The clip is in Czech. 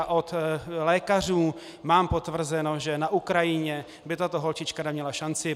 A od lékařů mám potvrzeno, že na Ukrajině by tato holčička neměla šanci.